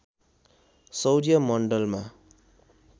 सौर्य मण्डलमा